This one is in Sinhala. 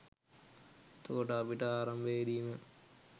එතකොට අපිට ආරම්භයේදී ම